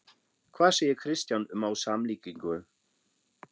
Hvað segir Kristján um á samlíkingu?